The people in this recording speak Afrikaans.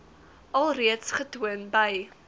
alreeds getoon by